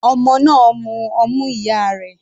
Ọmọ náà ń mú ọmú ìyá rẹ̀.